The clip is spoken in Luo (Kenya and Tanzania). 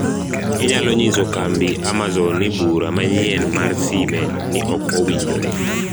inyalo nyiso kambi amazon ni bura manyien mar sime ni ok owinjore